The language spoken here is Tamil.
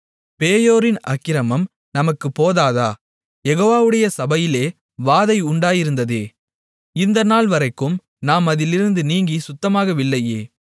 பேயோரின் அக்கிரமம் நமக்குப் போதாதா யெகோவாவுடைய சபையிலே வாதை உண்டாயிருந்ததே இந்த நாள்வரைக்கும் நாம் அதிலிருந்து நீங்கிச் சுத்தமாகவில்லையே